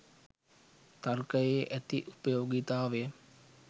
තර්කයේ ඇති උපයෝගීතාවය